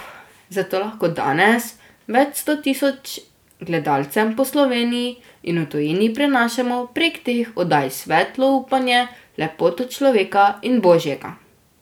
Zato lahko danes več sto tisoč gledalcem po Sloveniji in v tujini prinašamo prek teh oddaj svetlo upanje, lepoto človeka in Božjega.